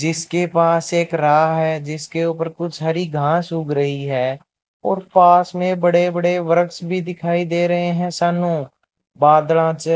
जिसके पास एक राह है जिसके ऊपर कुछ हरी घास उग रही है और पास में बड़े बड़े वृक्ष भी दिखाई दे रहे हैं चे --